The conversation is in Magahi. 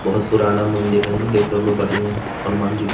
बहुत पुराना मंदिर है ने देख रहलो बढ़िया हेय हनुमान जी के ।